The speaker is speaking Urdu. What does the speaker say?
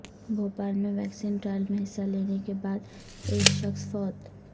بھوپال میں ویکسین ٹرائل میں حصہ لینے کے بعد ایک شخص فوت